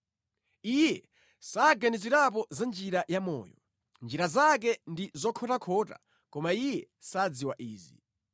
Iye saganizirapo za njira ya moyo; njira zake ndi zokhotakhota koma iye sadziwa izi.